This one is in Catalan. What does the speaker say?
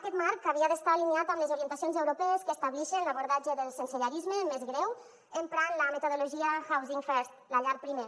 aquest marc havia d’estar alineat amb les orientacions europees que establixen l’abordatge del sensellarisme més greu emprant la metodologia housing first la llar primer